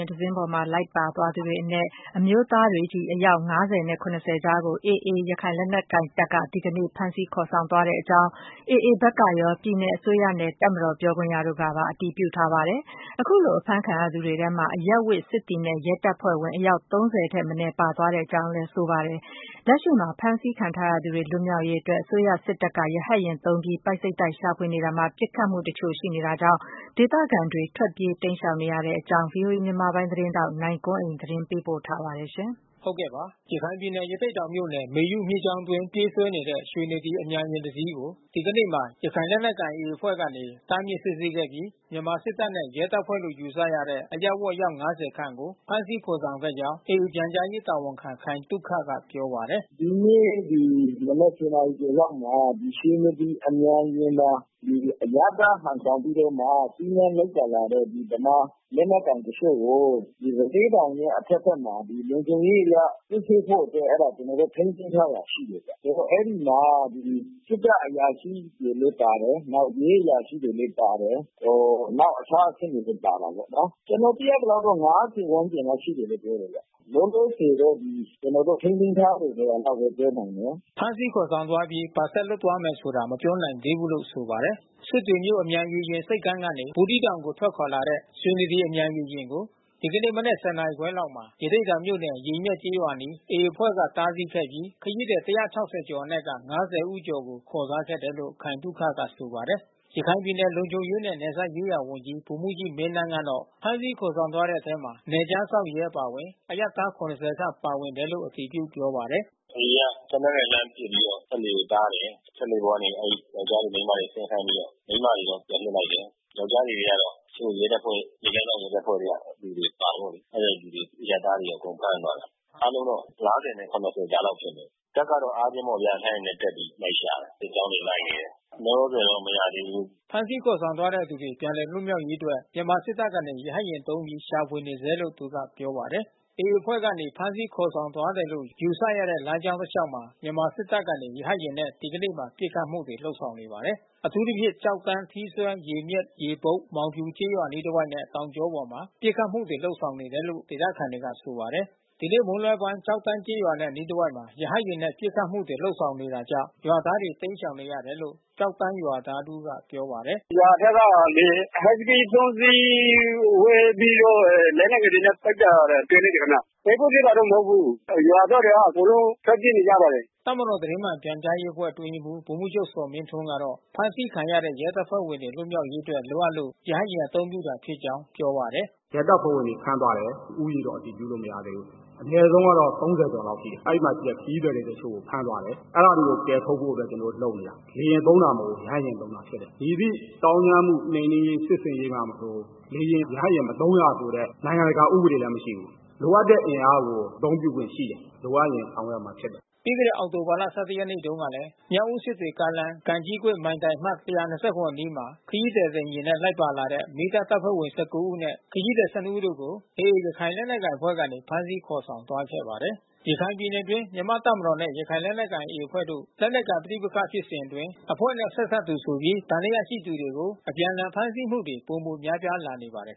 ဉ်တစီးပေါ်မှာ လိုက်ပါလာသူတွေအနက် အမျိုးသား အယောက် ၅၀ နဲ့ ၇၀ ကြားကို AA ရခိုင်လက်နက်ကိုင်တပ်က ဒီကနေ့ ဖမ်းဆီးခေါ်ဆောင်သွားတဲ့အကြောင်း AA ဘက်ကရော ပြည်နယ်အစိုးရနဲ့ တပ်မတော် ပြောခွင့်ရတို့ကပါ အတည်ပြုထားပါတယ်။ အခုလို ဖမ်းဆီးခံထားရသူတွေထဲမှာ အရပ်ဝတ် စစ်သည်နဲ့ ရဲတပ်ဖွဲ့ဝင် အယောက် ၃၀ ထက်မနည်း ပါသွားတဲ့အကြောင်းကိုလည်း အတည်ပြုကြပါတယ်။ လက်ရှိမှာ ဖမ်းဆီးခံထားရသူတွေ လွတ်မြောက်ရေးအတွက် စစ်တပ်က ရဟတ်ယာဉ်သုံးပြီး ပိုက်စိပ်တိုက် ရှာဖွေနေတာမှာ ပစ်ခတ်မှုတချို့လည်း ရှိတာကြောင့် ဒေသခံတွေ ထွက်ပြေးတိမ်းရှောင်နေရတဲ့အကြောင်း ဗွီအိုအေ မြန်မာပိုင်းသတင်းထောက် နိုင်ကွန်းအိန်က စုံစမ်းမေးမြန်းပြီး တင်ပြထားပါတယ်။ ရခိုင်ပြည်နယ် ရသေ့တောင်မြို့နယ် မေယုမြစ်ကြောင်းအတွင်း ပြေးဆွဲနေတဲ့ ရွှေနဒီ အမြန်ယာဉ်တစီးကို ဒီကနေ့မှာ ရခိုင်လက်နက်ကိုင် AA အဖွဲ့ကနေ တားမြစ်စစ်ဆေးခဲ့ပြီး မြန်မာစစ်တပ်နဲ့ ရဲတပ်ဖွဲ့လို့ ယူဆရတဲ့ အရပ်ဝတ် အယောက် ၅၀ ခန့်ကို ဖမ်းဆီးခေါ်ဆောင်ခဲ့ကြောင်း AA ပြန်ကြားရေးတာဝန်ခံ ခိုင်သုခက ပြောပါတယ်။ “ဒီနေ့ ၁၀ နာရီကျော်လောက်မှာ ရွှေနဒီအမြန်ယာဉ်မှာ အရပ်သားဟန်ဆောင်ပြီးတော့မှ စီးနင်းလိုက်ပါလာတဲ့ ဗမာလက်နက်ကိုင်တချို့ကို ရသေ့တောင်ရဲ့ အထက်ဘက်မှာ လုံခြုံရေးအရ စစ်ဆေးဖို့အတွက် အဲဒါ ကျနော်တို့ ထိန်းသိမ်းထားတာ ရှိတယ်ဗျ။ အဲဒီမှာ စစ်တပ်အရာရှိတွေလည်း ပါတယ်။ ရဲအရာရှိတွေလည်း ပါတယ်။ နောက် အခြားအဆင့်တွေလည်း ပါတာပေါ့နော်။ ကျနော်သိရသလောက်တော့ ၅၀ ဝန်းကျင်လောက်ရှိတယ်လို့ ပြောတယ်ဗျ။ လောလောဆယ်တော့ ကျနော်တို့ ထိန်းသိမ်းထားတယ် ဆိုတာလောက်ပဲ ပြောနိုင်တယ်ဗျ။” ဖမ်းဆီးခေါ်ဆောင်အပြီး ဘာဆက်လုပ်သွားမယ်ဆိုတာ မပြောနိုင်သေးဘူးလို့ ဆိုပါတယ်။ စစ်တွေမြို့ အမြန်ရေယာဉ်ဆိပ်ကမ်းကနေ ဘူးသီးတောင်ကို ထွက်ခွာလာတဲ့ ရွှေနဒီ အမြန်ရေယာဉ်ကို ဒီနေ့မနက် ၁၀ နာရီခွဲလောက်မှာ ရသေ့တောင်မြို့နယ်၊ ရေမျက်ကျေးရွာအနီး AA အဖွဲ့က တားဆီးခဲ့ပြီး ခရီးသည် ၁၆၀ ကျော်အနက် ၅၀ ဦးကျော် ခေါ်ထားခဲ့တယ်လို့ ခိုင်သုခက ဆိုပါတယ်။ ရခိုင်ပြည်နယ် လုံခြုံရေးနဲ့ နယ်စပ်ရေးရာဝန်ကြီး ဗိုလ်မှူးကြီးမင်းသန်းကတော့ ဖမ်းဆီးခေါ်ဆောင်သွားတဲ့အထဲ နယ်ခြားစောင့်ရဲ အပါအဝင် အရပ်သား ၇၀ ခန့် ပါဝင်တယ်လို့ အတည်ပြု ပြောပါတယ်။ “AA က သေနတ်နဲ့လှမ်းပစ်ပြီးတော့ စက်လှေကို တားတယ်။ စက်လှေပေါ်ကနေ အဲဒီယောကျာ်းတွေ မိန်းမတွေ ဆင်းခိုင်းပြီးတော့ မိန်းမတွေတော့ ပြန်လွှတ်လိုက်တယ်။ ယောကျ်ားတွေထဲကတော့ တချို့ ရဲတပ်ဖွဲ့ နယ်ခြားစောင့်ရဲတပ်ဖွဲ့ထဲက လူတွေတော့ ပါတာပေါ့။ အဲဒီသူတွေ အရပ်သားတွေ အကုန်ဖမ်းသွားတယ်။ အားလုံးတော့ ၅၀ နဲ့ ၇၀ ကြားလောက် ဖြစ်တယ်။ တပ်ကတော့ အားချင်းပေါ့ဗျာ ရဟတ်ယာဉ်နဲ့တက်ပြီး လိုက်ရှာတယ်။ စစ်ကြောင်းတွေ လိုက်နေတယ်။ လောလောဆယ်တော့ မရသေးဘူး။” ဖမ်းဆီးခေါ်ဆောင်ခံရတဲ့သူတွေ ပြန်လည်လွတ်မြောက်ရေးအတွက် မြန်မာစစ်တပ်ကနေ ရဟတ်ယာဉ်သုံးပြီး ရှာဖွေနေဆဲလို့ သူက ပြောပါတယ်။ AA အဖွဲ့ကနေ ဖမ်းဆီးခေါ်ဆောင်သွားတယ်လို့ ယူဆရတဲ့ လမ်းကြောင်းတလျှောက်မှာ မြန်မာစစ်တပ်ကနေ ရဟတ်ယာဉ်နဲ့ ဒီကနေ့မှာ ပစ်ခတ်မှုတွေ လုပ်ဆောင်နေပါတယ်။ အထူးသဖြင့် ကျောက်တန်း၊ ထီးစွဲ၊ ရေမျက်၊ ရေဘုတ်၊ မောင်ဖြူ ကျေးရွာအနီးတဝိုက်နဲ့ တောင်ကြောပေါ်မှာ ပစ်ခတ်မှုတွေ လုပ်ဆောင်နေတယ်လို့ ဒေသခံတွေက ဆိုပါတယ်။ ဒီနေ့ မွန်းလွဲပိုင်း ကျောက်တန်းကျေးရွာနဲ့ အနီးတဝိုက်တွေမှာ ရဟတ်ယာဉ်နဲ့ ပစ်ခတ်မှုတွေ လုပ်ဆောင်နေတာကြောင့် ရွာသားတွေ တိမ်းရှောင်နေရတယ်လို့ ကျောက်တန်းရွာသားတဦးက ပြောပါတယ်။ “ရွာထဲကလေ ဟိုက်စကီး ၃ စီး ဝဲပြီးတော့ လက်နက်ငယ်တွေနဲ့ပစ်တာ တွေ့လိုက်တယ်ခင်ဗျ။ တိုက်ပွဲဖြစ်တာတော့ မဟုတ်ဘူး။ ရွာသားတွေက အကုန်လုံး ထွက်ပြေးနေရပါတယ်။” တပ်မတော် သတင်းမှန်ပြန်ကြားရေးအဖွဲ့ အတွင်းရေးမှူး ဗိုလ်မှူးချုပ် ဇော်မင်းထွန်းကတော့ ဖမ်းဆီးခံရတဲ့ ရဲတပ်ဖွဲ့တွေ လွတ်မြောက်ရေးအတွက် လိုအပ်လို့ ရဟတ်ယာဉ်အသုံးပြုတာဖြစ်ကြောင်း ပြောပါတယ်။ “ရဲတပ်ဖွဲ့ဝင်တွေ ဖမ်းသွားတယ်။ ဦးရေတော့ အတည်ပြုလို့ မရသေးဘူး။ အနည်းဆုံးကတော့ ၃၀ ကျော်လောက်ရှိတယ်။ အဲဒီမှာရှိတဲ့ ခရီးသည်တချို့ကို ဖမ်းသွားတယ်။ အဲဒါတွေကို ကယ်ထုတ်ဖို့ ကျနော်တို့လုပ်နေတာ။ လေယာဉ်သုံးတာ မဟုတ်ဘူး၊ ရဟတ်ယာဉ်သုံးတာဖြစ်တယ်။ မည်သည့်သောင်းကျန်းမှု နှိမ်နင်းရေး စစ်ဆင်ရေးပါမဆို လေယာဉ်၊ ရဟတ်ယာဉ် မသုံးရဆိုတဲ့ နိုင်ငံတကာဥပဒေလည်း မရှိဘူး။ လိုအပ်တဲ့အင်အားကို အသုံးပြုခွင့်ရှိတယ်။ လိုအပ်ရင် ဆောင်ရွက်ရမှာဖြစ်တယ်။” ပြီးခဲ့တဲ့ အောက်တိုဘာ ၁၁ ရက်နေ့တုန်းကလည်း မြောက်ဦး-စစ်တွေကားလမ်း၊ ကံကြီးကွေ့ မိုင်တိုင်အမှတ် ၁၂၇ အနီးမှာ ခရီးသည်တင်ယာဉ်နဲ့ လိုက်ပါလာတဲ့ မီးသတ်တပ်ဖွဲ့ဝင် ၁၉ ဦးနဲ့ ခရီးသည် ၁၂ ဦးတို့ကို AA ရခိုင်လက်နက်ကိုင်အဖွဲ့ကနေ ဖမ်းဆီးခေါ်ဆောင်သွားခဲ့တာပါ။ ရခိုင်ပြည်နယ်အတွင်း မြန်မာ့တပ်မတော်နဲ့ ရခိုင်လက်နက်ကိုင် AA အဖွဲ့တို့ လက်နက်ကိုင်ပဋိပက္ခ ဖြစ်စဉ်အတွင်း အဖွဲ့နဲ့ဆက်စပ်သူဆိုပြီး သံသယရှိသူတွေကို အပြန်အလှန် ဖမ်းဆီးမှုတွေ ပိုမိုများပြားလာနေပါတယ်